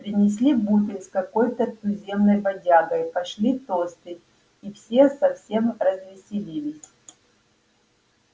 принесли бутыль с какой-то туземной бодягой пошли тосты и все совсем развеселились